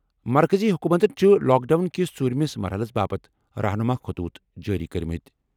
مرکٔزی حکوٗمتَن چھِ لاک ڈاوُن کِس ژوٗرِمِس مرحلَس باپتھ رہنما خطوط جٲری کٔرمٕتۍ۔